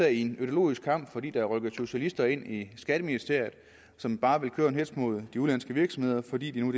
i en ideologisk kamp fordi der er rykket socialister ind i skatteministeriet som bare vil køre en hetz mod de udenlandske virksomheder fordi det nu